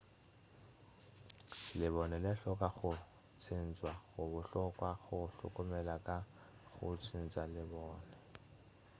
lebone le hloka go tšhentšwa go bohlokwa go hlokomela ka go tšhentša lebone